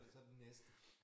Så den næste